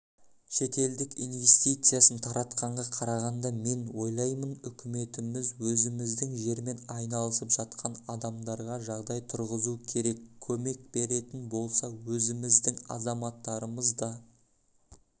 шетелдің инвестициясын тартқанға қарағанда мен ойлаймын үкіметіміз өзіміздің жермен айналысып жатқан адамдарға жағдай тұрғызу керек көмек беретін болса өзіміздің азаматтарымыз да